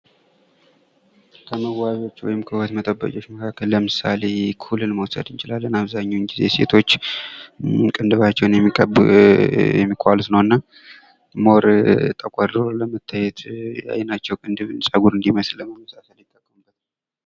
ከመዋቢያዎች ወይም ከውበት መጠበቂያዎች መካከል ለምሳሌ ኩልን መውሰድ እንችላለን አብዛኛውን ጊዜ ሴቶች ቅንድባቸውን የሚቀቡ የሚኳሉት ነውና ሞር ተኳድርው ለመታየት የአይናቸው ቅንድብ ጸጉር እንዲመስል ለማመሳሰል ይጠቀሙታል።